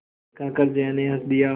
कहकर जया ने हँस दिया